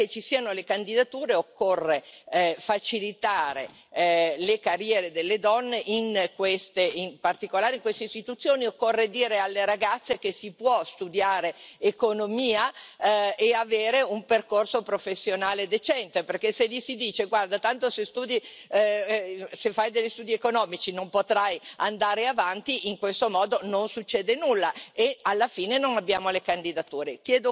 Perché ci siano le candidature occorre facilitare le carriere delle donne, in particolare in queste istituzioni occorre dire alle ragazze che si può studiare economia e avere un percorso professionale decente, perché se si dice loro guarda, tanto se fai degli studi economici non potrai andare avanti, in questo modo non succede nulla e alla fine non abbiamo le candidature.